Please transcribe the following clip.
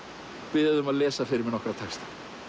biðja þig um að lesa fyrir mig nokkra texta